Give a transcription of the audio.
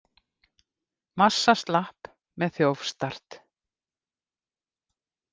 Massa slapp með þjófstart